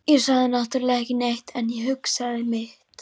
Ég sagði náttúrlega ekki neitt, en ég hugsaði mitt.